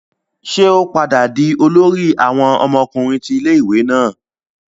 Ṣe o padà dì olórí awon ọmọkùnrin ti ilé-ìwé náà?